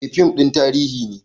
Eh fim ɗin tarihi ne